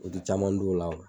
U ti caman dun o la